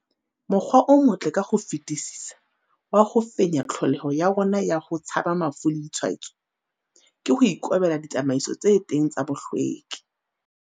Mokgwa o motle ka ho fetisisa wa ho fenya tlholeho ya rona ya ho tshaba mafu le ditshwaetso, ke ho ikobela ditsamaiso tse teng tsa bohlweki.